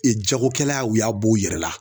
Ee jagokɛla u y'a bo u yɛrɛ la